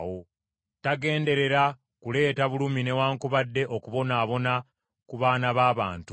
Tagenderera kuleeta bulumi newaakubadde okubonaabona ku baana ba bantu.